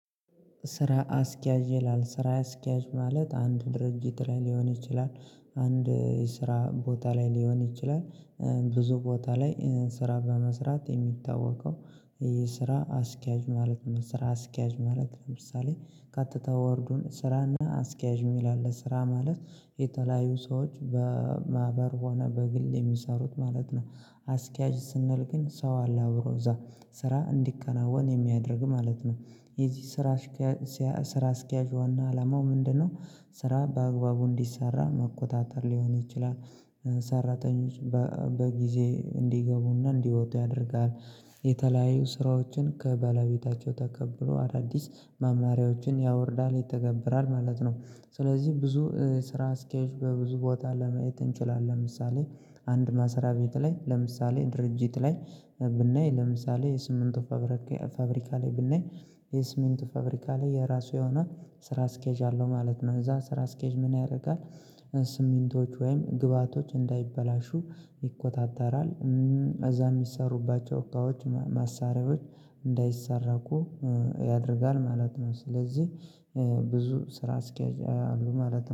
ስራ አስኪያጅ ይላል ስራ አስኪያጅ ማለት አንድ ድርጅት ላይ ሊሆን ይችላል አንድ የስራ ቦታ ላይ ሊሆን ይችላል ብዙ ቦታ ላይ ስራ በመስራት የሚታወቀው። የስራ አስኪያጅ ማለት ነው። ስራ አስኪያጅ ማለት ለምሳሌ ቀጥታ ወርዱን ስራና አስኪያጅ የሚል አለ ስራ ማለት የተለያዩ ሰዎች በማህበር ሆነ በግል የሚሰሩት ማለት ነው። አስኪያጅ ስንል ግን ሰው አለ አብሮ እዛ ስራ እንዲከናወን የሚያደርግ ማለት ነው። የዚህ ስራ አስኪያጅ ስራ አስኪያጅ ዋና አላማው ምንድነው? ስራ በአግባቡ እንዲሰራ መቆጣጠር ሊሆን ይችላል። ሰራተኞች በጊዜ እንዲገቡና እንዲወጡ ያደርጋል። የተለያዩ ስራዎችን ከበላቤታቸው ተቀብሎ አዳዲስ መማሪያዎችን ያወርዳል ይተገብራል ማለት ነው። ስለዚህ ብዙ ስራ ስኬጅ በብዙ ቦታ ለማየት እንችላለን። ለምሳሌ አንድ ማስሪያ ቤት ላይ ለምሳሌ ድርጅት ላይ ብናይ ለምሳሌ የስምንቱ ፋብሪካ ላይ ብናይ የስምንቱ ፋብሪካ ላይ የራሱ የሆነ ስራ ስኬጅ አለው ማለት ነው እዛ ስራ ስኬጅ ምን ያደርጋል? ስሚንቶች ወይም ግብአቶች እንዳይበላሹ ይቆጣጠራል። እዛ የሚሰሩባቸው እካዎች ማሳሪያዎች እንዳይሰረቁ ያደርጋል ማለት ነው። ስለዚህ ብዙ ስራ አስኪያጅ አሉ ማለት ነው